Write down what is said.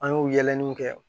An y'o yɛlɛliw kɛ